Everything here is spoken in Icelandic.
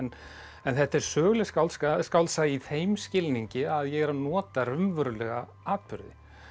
en þetta er söguleg skáldsaga skáldsaga í þeim skilningi að ég er að nota raunverulega atburði